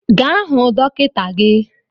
Gaa hụ dọkịta gi!